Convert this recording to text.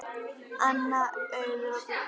Anna, Auður og Guðrún.